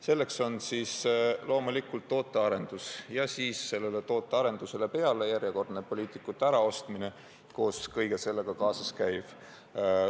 Selleks on kävitatud tootearendus ja selle tootearenduse juurde käib järjekordne poliitikute äraostmine ja muu selle juurde kuuluv.